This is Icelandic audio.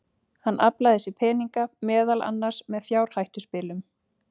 Hann aflaði sér peninga, meðal annars með fjárhættuspilum.